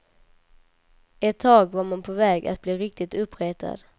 Ett tag var man på väg att bli riktigt uppretad.